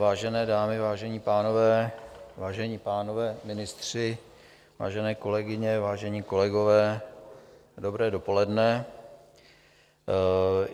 Vážené dámy, vážení pánové, vážení pánové ministři, vážené kolegyně, vážení kolegové, dobré dopoledne.